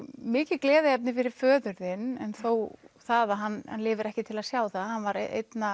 mikið gleðiefni fyrir föður þinn en þó það að hann lifi ekki til að sjá það hann var